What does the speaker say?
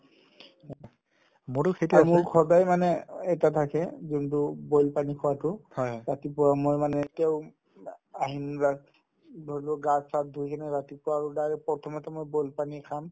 আৰু মোৰ সদায়ে মানে এটা থাকে যোনতো boil পানী খোৱাতো ৰাতিপুৱা মই মানে এতিয়াও আ গিলাচ ধৰিল'লো গা চা ধুই কিনে ৰাতিপুৱা আৰু direct প্ৰথমতে মই boil পানী খাম